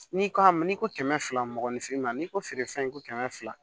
N'i ko a ma n'i ko kɛmɛ fila mɔgɔninfin ma n'i ko feere fɛn ko kɛmɛ fila